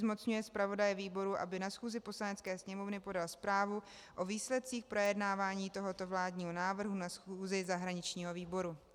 Zmocňuje zpravodaje výboru, aby na schůzi Poslanecké sněmovny podal zprávu o výsledcích projednávání tohoto vládního návrhu na schůzi zahraničního výboru.